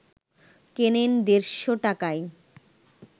কেনেন দেড়শ টাকায়